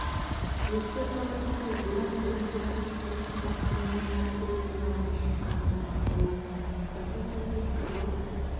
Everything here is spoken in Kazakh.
еске сала кетейік бұдан бұрын диястың хиросима турнирінің ширек финалына шыққанын жазған болатынбыз айта кетейік жыл